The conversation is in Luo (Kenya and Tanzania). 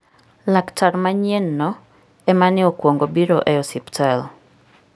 Laktar manyienno ema ne okwongo biro e osiptal.